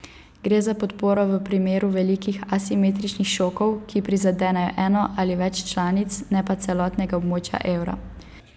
Gre za podporo v primeru velikih asimetričnih šokov, ki prizadenejo eno ali več članic, ne pa celotnega območja evra.